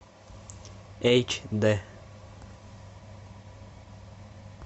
эйч д